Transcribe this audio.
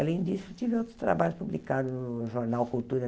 Além disso, tive outros trabalhos publicados no jornal Cultura.